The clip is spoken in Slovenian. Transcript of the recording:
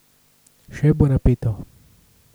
Še bo napeto!